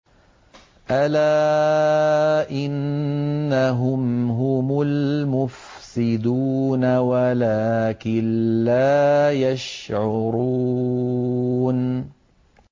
أَلَا إِنَّهُمْ هُمُ الْمُفْسِدُونَ وَلَٰكِن لَّا يَشْعُرُونَ